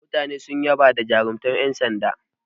Mutane sun yaba da jarumtar yan sanda.